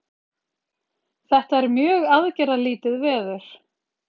Þetta er mjög aðgerðalítið veður